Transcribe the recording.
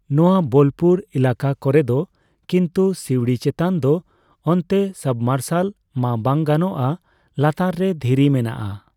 ᱱᱚᱣᱟ ᱵᱳᱞᱯᱩᱨ ᱮᱞᱟᱠᱟ ᱠᱚᱨᱮᱫ ᱾ ᱠᱤᱱᱛᱩ ᱥᱤᱣᱲᱤ ᱪᱮᱛᱟᱱ ᱫᱚ ᱚᱱᱛᱮ ᱥᱟᱵᱢᱟᱨᱥᱟᱞ ᱢᱟ ᱵᱟᱝ ᱜᱟᱱᱚᱜᱼᱟ ᱞᱟᱛᱟᱨ ᱨᱮ ᱫᱷᱤᱨᱤ ᱢᱮᱱᱟᱜᱼᱟ ᱾